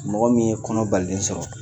Mɔgɔ min ye kɔnɔbalilen sɔrɔ